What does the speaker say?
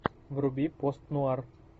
вруби пост нуар